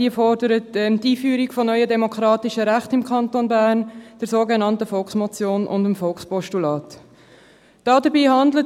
Sie fordert die Einführung neuer demokratischer Rechte im Kanton Bern, die sogenannte 11